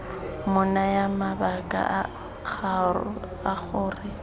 mo naya mabaka a gore